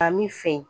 A min fɛ